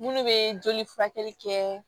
Munnu be joli furakɛli kɛ